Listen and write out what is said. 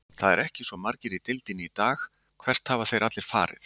Það eru ekki svo margir í deildinni í dag, hvert hafa þeir allir farið?